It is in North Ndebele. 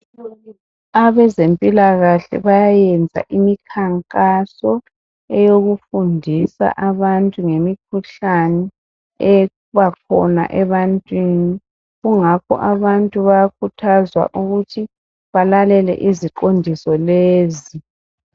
Abezempilakahle bayayenza imikhankaso eyokufundisa abantu ngemikhuhlane ebakhona ebantwini kungakho abantu bayakhuthazwa ukuthi balalele iziqondiso lezi.